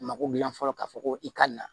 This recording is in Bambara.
Mako dilan fɔlɔ ka fɔ ko i ka nin na